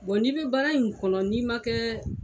Bon n'i bɛ baara in kɔnɔ n'i ma kɛ